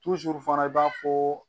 fana i b'a fɔ